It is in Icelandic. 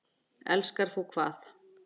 Elskar þú hvað?